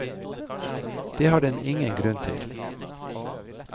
Det har den ingen grunn til.